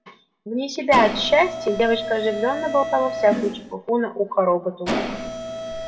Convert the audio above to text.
вне себя от счастья девочка оживлённо болтала всякую чепуху на ухо роботу